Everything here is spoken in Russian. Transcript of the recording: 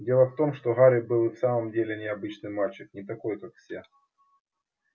дело в том что гарри был и в самом деле необычный мальчик не такой как все